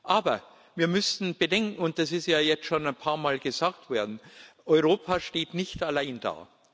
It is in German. Aber wir müssen bedenken und das ist ja jetzt schon ein paar Mal gesagt worden Europa steht nicht alleine da.